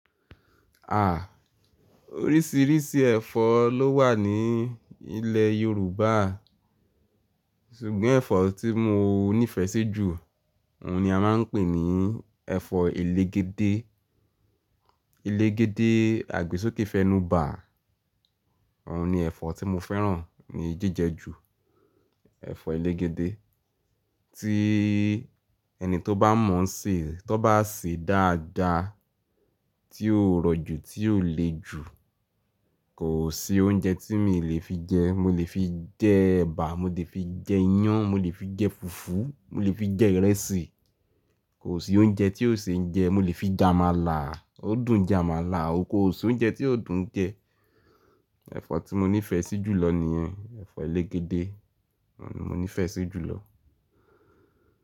À, oríṣìíríṣìí ẹ̀fọ́ ló wà ní ilé Yorùbá, ṣùgbọ́n ẹ̀fọ́ tí mo nífẹ̀ẹ́ sí jù, òun ni a máa ń pè ní ẹ̀fọ́ elégédé. Elégédé àgbo sókè fẹnu ba, òun ni ẹ̀fọ́ tí mo fẹ́ràn ní jíjẹ ju. Ẹ̀fọ́ elégédé tí ẹni tó bá mọ ṣè, tó bá sè dáadáa, tí ó rọ̀ jù, tí ó le jù, kò sí oúnjẹ tí mi lè fi jẹ. Mo lè fi jẹ ẹ̀bà, mo lè fi jẹ iyan, mo lè fi jẹ fùfú, mo lè fi jẹ ìrẹsì. Kò sí oúnjẹ tí yóò ṣe ń jẹ. Mo lè fi jẹ àmàlà, ó dùn jẹ àmàlà. Ó kò sí oúnjẹ tí kò dùn jẹ. Ẹ̀fọ́ tí mo nífẹ̀ẹ́ sí jù lọ nìyẹn, ẹ̀fọ́ elégédé. Òun ni mo nífẹ̀ẹ́ sí jù lọ.